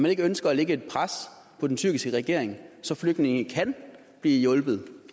ikke ønsker at lægge et pres på den tyrkiske regering så flygtningene kan blive hjulpet